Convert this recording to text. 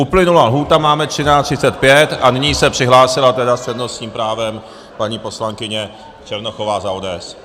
Uplynula lhůta, máme 13.35 a nyní se přihlásila tedy s přednostním právem paní poslankyně Černochová za ODS.